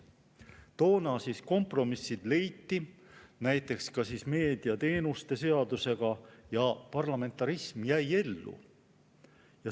Toona leiti kompromiss näiteks meediateenuste seaduse puhul ja parlamentarism jäi ellu.